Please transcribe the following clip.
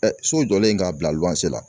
Ɛ so jɔlen k'a bila la